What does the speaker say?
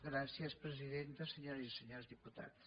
gràcies presidenta senyores i senyors diputats